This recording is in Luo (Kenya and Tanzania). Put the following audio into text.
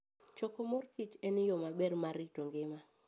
Choko mor kich en yo maber mar rito ngima.